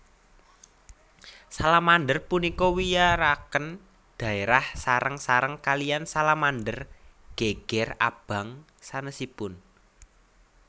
Salamander punika wiyaraken dhaérah sareng sareng kaliyan salamander geger abang sanesipun